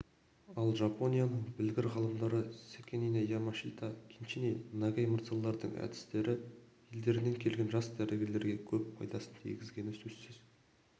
ал жапонияның білгір ғалымдары секине ямашита кеничи нагай мырзалардың дәрістері елдерінен келген жас дәрігерлерге көп пайдасын тигізгені сөзсіз